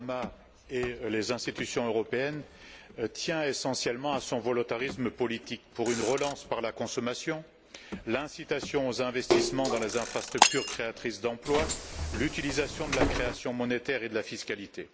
Obama et les institutions européennes tient essentiellement à son volontarisme politique pour une relance par la consommation, l'incitation aux investissements dans les infrastructures créatrices d'emplois, l'utilisation de la création monétaire et de la fiscalité.